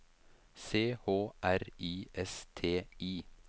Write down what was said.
C H R I S T I